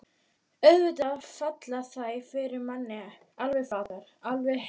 Auðvitað falla þær fyrir manni. alveg flatar. alveg heilu búntin!